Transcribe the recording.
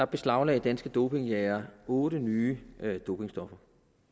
beslaglagde danske dopingjægere otte nye dopingstoffer